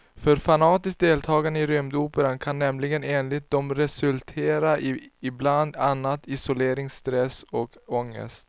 För fanatiskt deltagande i rymdoperan kan nämligen enligt dem resultera i bland annat isolering, stress och ångest.